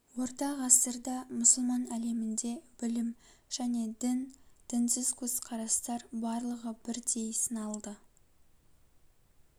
орта ғасырда мұсылман әлемінде білім және дін дінсіз көзқарастар барлығы бірдей сыналды